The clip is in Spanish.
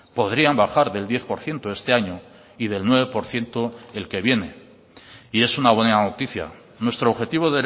podrían bajar del diez por ciento este año y del nueve por ciento el que viene y es una buena noticia nuestro objetivo